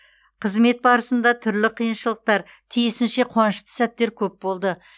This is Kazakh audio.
қызмет барысында түрлі қиыншылықтар тиісінше қуанышты сәттер көп болды